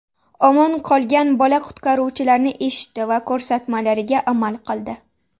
Omon qolgan bola qutqaruvchilarni eshitdi va ko‘rsatmalariga amal qildi.